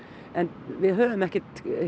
en við höfum ekki